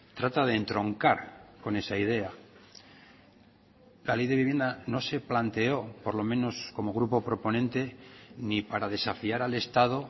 trata de entroncar con esa idea la ley de vivienda no se planteó por lo menos como grupo proponente ni para desafiar al estado